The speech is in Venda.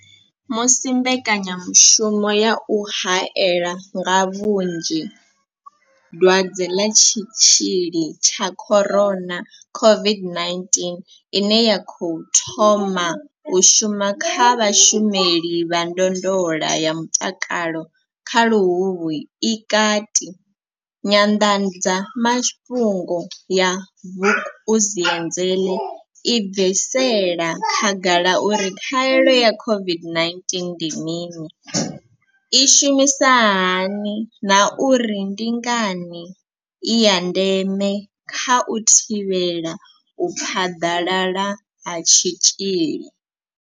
Musi mbekanyamushumo ya u haela nga vhunzhi dwadze ḽa tshitzhili tsha corona COVID-19 ine ya khou thoma u shuma kha vhashumeli vha ndondolo ya mutakalo nga luhuhi i kati, nyanḓadzamafhungo ya Vukuzenzele i bvisela khagala uri khaelo ya COVID-19 ndi mini, i shumisa hani na uri ndi ngani i ya ndeme kha u thivhela u phaḓalala ha tshitzhili.